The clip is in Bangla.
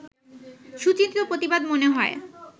সুচিন্তিত প্রতিবাদ মনে হয়